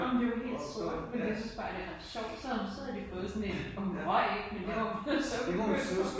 Ej men det jo helt sort. Men jeg synes bare den er sjov. Så havde hun så havde de fået sådan en og hun røg ikke men det var jo så